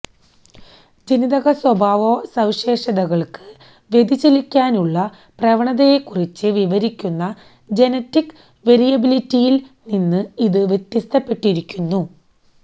ജനിതകസ്വഭാവസവിശേഷതകൾക്ക് വ്യതിചലിക്കാനായുള്ള പ്രവണതയെക്കുറിച്ച് വിവരിക്കുന്ന ജനറ്റിക്ക് വേരിയബിലിറ്റിയിൽ നിന്ന് ഇത് വ്യത്യസ്തപ്പെട്ടിരിക്കുന്നു